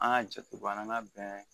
An ka jate bɔ an ka bɛn